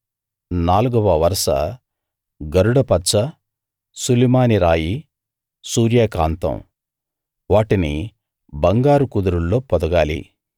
నాలుగవ వరస గరుడ పచ్చ సులిమాని రాయి సూర్యకాంతం వాటిని బంగారు కుదురుల్లో పొదగాలి